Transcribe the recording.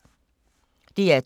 DR2